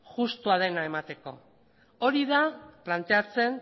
justua dena emateko hori da planteatzen